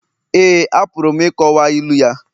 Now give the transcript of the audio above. Éè, apụrụ m ịkọwa ilu ya